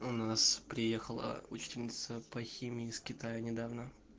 у нас приехала учительница по химии с китая недавно